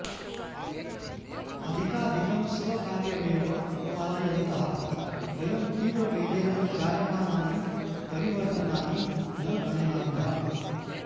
अधिकाधिकं स्वकार्यमेव पालयन्तः वयं तीव्रवेगेन जायमानानि परिवर्तनानि न गणयामः